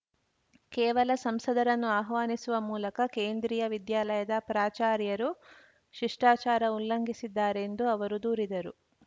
ಕೇವಲ ಸಂಸದರನ್ನು ಆಹ್ವಾನಿಸುವ ಮೂಲಕ ಕೇಂದ್ರೀಯ ವಿದ್ಯಾಲಯದ ಪ್ರಾಚಾರ್ಯರು ಶಿಷ್ಟಾಚಾರ ಉಲ್ಲಂಘಿಸಿದ್ದಾರೆಂದು ಅವರು ದೂರಿದರು